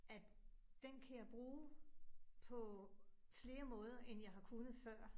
At den kan jeg bruge på flere måder end jeg har kunnet før